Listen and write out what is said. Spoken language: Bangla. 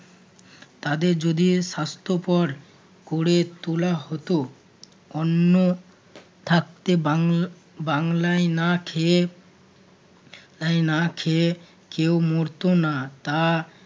তাদের যদি স্বাস্থ্যকর করে তোলা হত অন্ন থাকতে বাং~ বাংলায় না খেয়ে~ না খেয়ে কেউ মরতো না তা